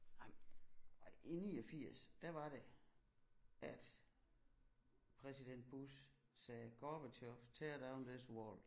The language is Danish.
Ej i 89 der var det at præsident Bush sagde Gorbatjov tear down this wall